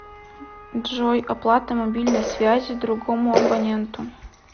джой оплата мобильной связи другому абоненту